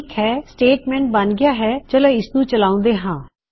ਠੀਕ ਹੈ ਸਟੇਟਮੈਂਟ ਬਨ ਗਇਆ ਹੈਚਲੋ ਇਸਨੂੰ ਚਲਾੳਦੇ ਹਾਂ